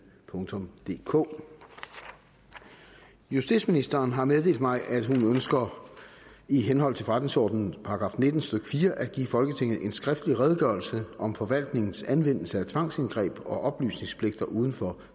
DK justitsministeren har meddelt mig at hun ønsker i henhold til forretningsordenens § nitten stykke fire at give folketinget en skriftlig redegørelse om forvaltningens anvendelse af tvangsindgreb og oplysningspligter uden for